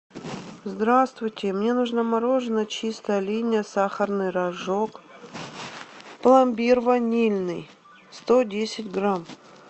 здравствуйте мне нужно мороженое чистая линия сахарный рожок пломбир ванильный сто десять грамм